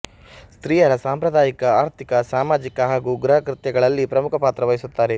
ಸ್ತ್ರೀಯರ ಸಾಂಪ್ರದಾಯಿಕ ಆರ್ಥಿಕ ಸಾಮಾಜಿಕ ಹಾಗೂ ಗೃಹಕೃತ್ಯಗಳಲ್ಲಿ ಪ್ರಮುಖ ಪಾತ್ರವಹಿಸುತ್ತಾರೆ